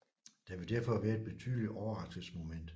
Der ville derfor være et betydeligt overraskelsesmoment